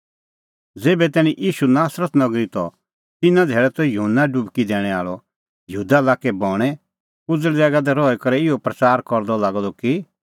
ज़ेभै तैणीं ईशू नासरत नगरी त तिन्नां धैल़ै त युहन्ना डुबकी दैणैं आल़अ यहूदा लाक्कै बणैं उज़ल़ ज़ैगा दी रही करै इहअ प्रच़ारा करदअ लागअ द कि